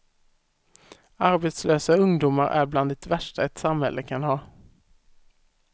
Arbetslösa ungdomar är bland det värsta ett samhälle kan ha.